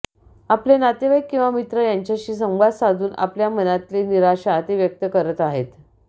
आपले नातेवाईक किंवा मित्र यांच्याशी संवाद साधून आपल्या मनातली निराशा ते व्यक्त करत आहेत